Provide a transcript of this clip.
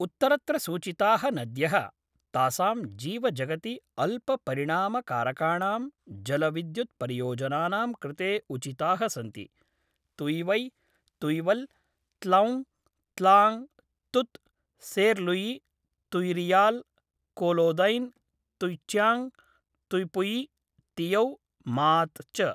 उत्तरत्र सूचिताः नद्यः, तासां जीवजगति अल्पपरिणामकारकाणां जलविद्युत्परियोजनानां कृते उचिताः सन्ति तुयिवै, तुयिवल्, त्लौङ्ग्, त्लाङ्ग्, तुत्, सेर्लुयि, तुय्रियाल्, कोलोदैन्, तुय्चाङ्ग्, तुय्पुयि, तियौ, मात् च।